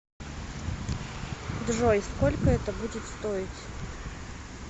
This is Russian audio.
джой сколько это будет стоить